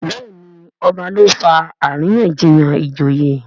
Béèni ọba ló fà àríyànjiyàn ìjòyè.